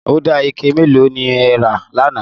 Ọdà ike mẹ́lò ni ẹ̀ rà láńà?